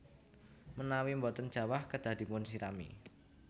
Menawi boten jawah kedah dipunsirami